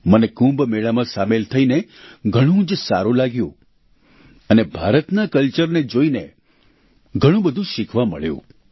મને કુંભ મેળામાં સામેલ થઈને ઘણું જ સારું લાગ્યું અને ભારતના કલ્ચરને જોઈને ઘણું બધું શિખવા મળ્યું